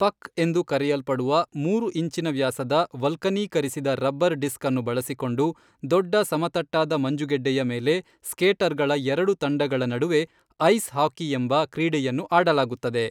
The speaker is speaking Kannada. ಪಕ್ ಎಂದು ಕರೆಯಲ್ಪಡುವ, ಮೂರು ಇಂಚಿನ ವ್ಯಾಸದ ವಲ್ಕನೀಕರಿಸಿದ ರಬ್ಬರ್ ಡಿಸ್ಕ್ ಅನ್ನು ಬಳಸಿಕೊಂಡು, ದೊಡ್ಡ ಸಮತಟ್ಟಾದ ಮಂಜುಗಡ್ಡೆಯ ಮೇಲೆ ಸ್ಕೇಟರ್ಗಳ ಎರಡು ತಂಡಗಳ ನಡುವೆ ಐಸ್ ಹಾಕಿಯೆಂಬ ಕ್ರೀಡೆಯನ್ನು ಆಡಲಾಗುತ್ತದೆ.